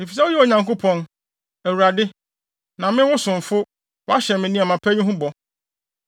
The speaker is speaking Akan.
Efisɛ woyɛ Onyankopɔn, Awurade. Na me, wo somfo, woahyɛ me nneɛma pa yi ho bɔ.